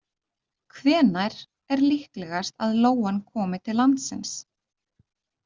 Hvenær er líklegast að lóan komi til landsins?